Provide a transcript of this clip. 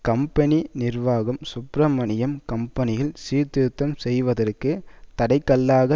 company நிர்வாகம் சுப்ரமணியம் கம்பெனியில் சீர்திருத்தம் செய்வதற்கு தடை கல்லாக